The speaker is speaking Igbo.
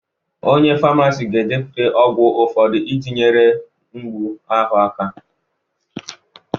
Onye famasi ga-edepụta ọgwụ ụfọdụ iji nyere mgbu ahụ aka